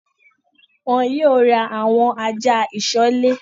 Wọn yìí ó ra àwọn ajá ìsọ̀lè